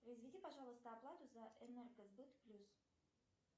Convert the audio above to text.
произведи пожалуйста оплату за энергосбыт плюс